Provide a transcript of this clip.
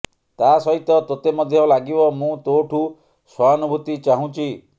ତା ସହିତ ତୋତେ ମଧ୍ୟ ଲାଗିବ ମୁଁ ତୋଠୁଁ ସହାନୁଭୁତି ଚାହୁଁଛି